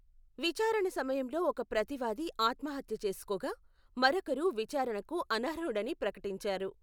విచారణ సమయంలో ఒక ప్రతివాది ఆత్మహత్య చేసుకోగా, మరొకరు విచారణకు అనర్హుడని ప్రకటించారు.